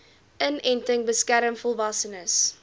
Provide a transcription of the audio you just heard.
inenting beskerm volwassenes